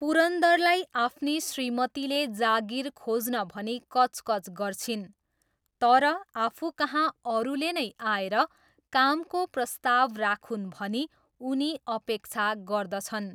पुरन्दरलाई आफ्नी श्रीमतीले जागिर खोज्न भनी कचकच गर्छिन् तर आफूकहाँ अरूले नै आएर कामको प्रस्ताव राखून् भनी उनी अपेक्षा गर्दछन्।